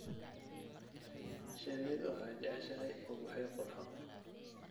Shinnidu waxay jeceshahay ubaxyo qurxoon.